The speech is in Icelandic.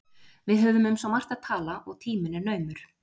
Við höfum um svo margt að tala, og tíminn er naumur